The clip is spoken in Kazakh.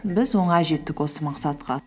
біз оңай жеттік осы мақсатқа